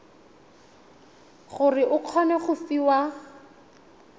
gore o kgone go fiwa